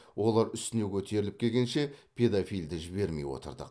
олар үстіне көтеріліп келгенше педофилді жібермей отырдық